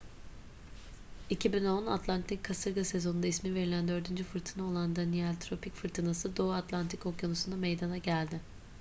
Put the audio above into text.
2010 atlantik kasırga sezonunda isim verilen dördüncü fırtına olan danielle tropik fırtınası doğu atlantik okyanusu'nda meydana geldi